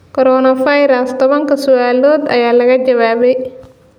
Coronavirus: Tobankaa su'aalood ayaa laga jawaabay